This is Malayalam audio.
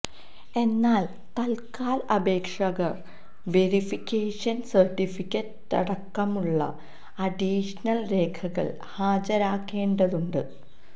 എന്നാൽ തത്കാൽ അപേക്ഷകർ വെരിഫിക്കേഷൻ സർട്ടിഫിക്കറ്റടക്കമുള്ള അഡീഷണൽ രേഖകൾ ഹാജരാക്കേണ്ടതുണ്ട്